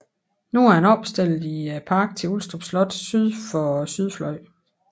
Nu er den opstillet i parken til Ulstrup Slot syd for sydfløjen